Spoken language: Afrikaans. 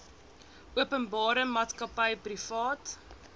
openbare maatskappy privaat